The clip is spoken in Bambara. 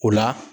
O la